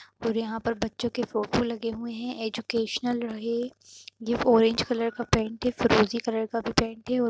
और यहाँ पे बच्चों के फोटो लगे हुए हैं। एजुकेशनल ये ओरेंज कलर का पेंट है। फिरोजी कलर का भी पेंट हैं और --